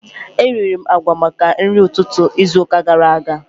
Eriri m agwa maka nri ụtụtụ izu ụka gara aga